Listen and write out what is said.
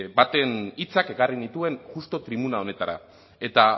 baten hitzak ekarri nituen justu tribuna honetara eta